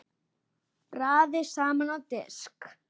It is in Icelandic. Raðið saman á disk.